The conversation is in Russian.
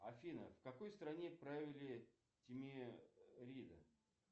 афина в какой стране провели тимерида